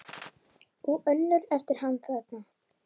Og önnur eftir hann þarna